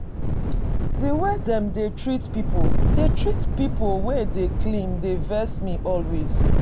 The way they dey treat people dey treat people wey dey clean dey vex me always